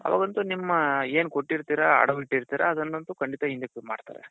ಅವಾಗಂತೂ ನಿಮ್ಮ ಏನ್ ಕೊಟ್ಟಿರ್ತೀರಾ ಅಡವ್ ಇಟ್ಟಿರ್ತೀರ ಅದನ್ನoತು ಖಂಡಿತ ಹಿಂದಕ್ ಮಾಡ್ತಾರೆ.